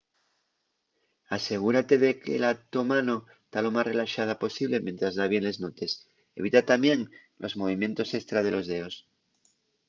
asegúrate de que la to mano ta lo más relaxada posible mientres da bien les notes evita tamién los movimientos estra de los deos